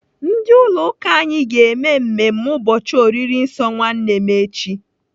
Ndị ụlọ ụka anyị ga-eme mmemme ụbọchị oriri nsọ nwanne echi.